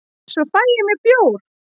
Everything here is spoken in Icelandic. svo fæ ég mér bjór